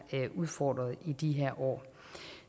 udfordret i de her år